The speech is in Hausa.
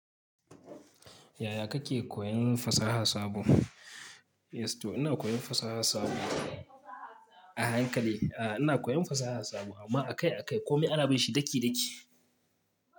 Yaya kake koyon fasaha sabo? Yes toh, ina koyon fasaha sabo, a hankali. Aa ina koyon fasaha sabo amma a kai a kai. Kome anabinshi daki daki.